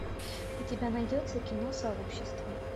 у тебя найдется кино сообщество